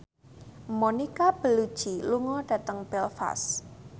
Monica Belluci lunga dhateng Belfast